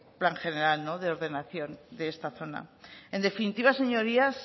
plan general de ordenación de esta zona en definitiva señorías